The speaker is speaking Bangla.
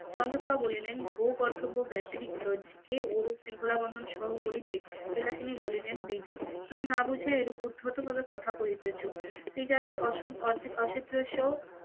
চন্দ্রপ্রভা বলিলেন ভুগর্ব ব্যাতিত আজকে রকম শৃঙ্খলা বন্ধন সহ করিবেন. বিলাসিনী বলিলেন দিদি তুমি না বুঝে এরূপ উদ্ধত ভাবে কথা কহিতেছ, স্ত্রী জাতি অর্ধেক অসদৃশ্য,